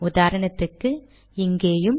உதாரணத்துக்கு இங்கேயும்